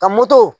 Ka moto